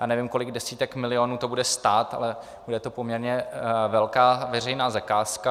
Já nevím, kolik desítek milionů to bude stát, ale bude to poměrně velká veřejná zakázka.